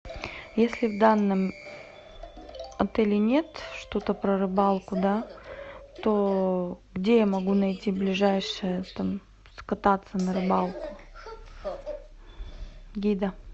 если в данном отеле нет что то про рыбалку да то где я могу найти ближайшее там скататься на рыбалку гида